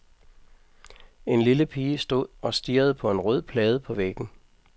En lille pige stod og stirrede på en rød plade på væggen.